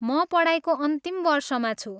म पढाइको अन्तिम वर्षमा छु।